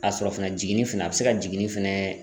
Ka sɔrɔ fɛnɛ jiginni fɛnɛ, a be se ka jiginni fɛnɛ